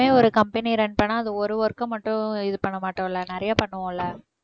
எப்பவுமே ஒரு company ய run பண்ணா அது ஒரு work அ மட்டும் இது பண்ண மாட்டோம் இல்ல நிறைய பண்ணுவோம்ல்ல